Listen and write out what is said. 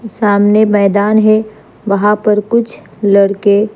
सामने मैदान है वहा पर कुछ लड़के--